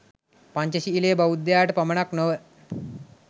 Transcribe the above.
පංචශීලය බෞද්ධයාට පමණක් නොව